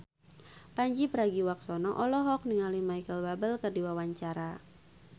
Pandji Pragiwaksono olohok ningali Micheal Bubble keur diwawancara